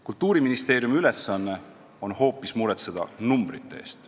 Kultuuriministeeriumi ülesanne on hoopis hoolitseda numbrite eest.